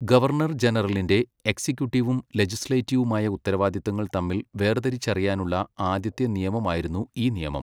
Governor ജനറലിൻ്റെ, എക്സിക്യൂട്ടീവും ലെജിസ്ലേറ്റീവുമായ ഉത്തരവാദിത്തങ്ങൾ തമ്മിൽ വേർതിരിച്ചറിയാനുള്ള ആദ്യത്തെ നിയമമായിരുന്നു ഈ നിയമം.